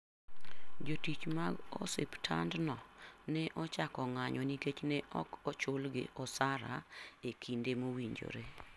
Jotich mag osiptandno ne ochako ng'anyo nikech ne ok ochulgi osara e kinde mowinjore.